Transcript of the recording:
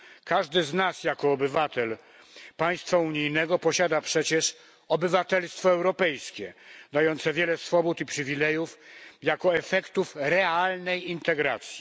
Każdy z nas jako obywatel państwa unijnego posiada przecież obywatelstwo europejskie dające wiele swobód i przywilejów jako efektów realnej integracji.